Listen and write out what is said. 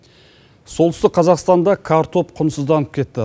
солтүстік қазақстанда картоп құнсызданып кетті